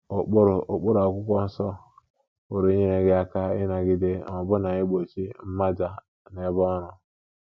Ụkpụrụ Ụkpụrụ akwụkwọ nsọ pụrụ inyere gị aka ịnagide — na ọbụna igbochi — mmaja n’ebe ọrụ.